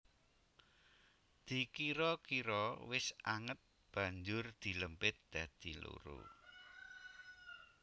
Dikira kira wis anget banjur dilempit dadi loro